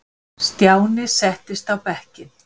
Stjáni settist á bekkinn.